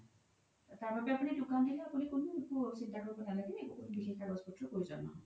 তাৰ বাবে আপোনি দুকান দিলেও কোনো চিন্তা কৰিব নালাগে কোনো বিশেষ কাগজ পত্ৰ প্ৰয়োজন ন্হয়